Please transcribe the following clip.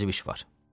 Vacib iş var.